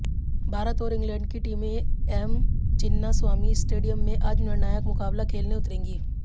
भारत और इंग्लैंड की टीमें एम चिन्नास्वामी स्टेडियम में आज निर्णायक मुकाबला खेलने उतरेंगी